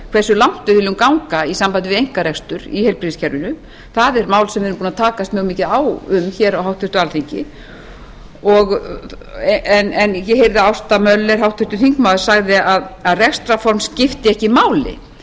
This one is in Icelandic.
langt við viljum ganga í sambandi við einkarekstur í heilbrigðiskerfinu það er mál sem við erum búin að takast mjög mikið á um hér á háttvirtu alþingi ég heyrði að háttvirtur þingmaður ásta möller sagði að rekstrarform skipti ekki máli